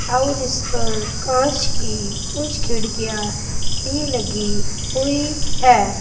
और इस पार कांच की कुछ खिड़कियां भी लगी हुई है।